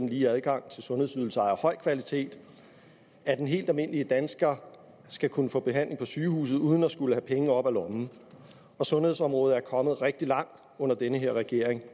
lige adgang til sundhedsydelser af høj kvalitet og at den helt almindelige dansker skal kunne få behandling på sygehuset uden at skulle have penge op af lommen sundhedsområdet er kommet rigtig langt under den her regering